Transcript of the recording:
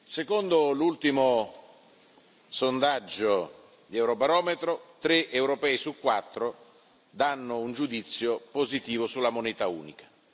Secondo l'ultimo sondaggio di Eurobarometro, tre europei su quattro danno un giudizio positivo sulla moneta unica.